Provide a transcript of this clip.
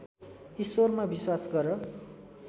ईश्वरमा विश्वास गर